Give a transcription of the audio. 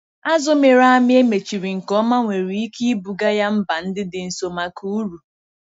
Azù mịrị amị e mechiri nke ọma nwere ike ibuga ya mba ndị dị nso maka uru.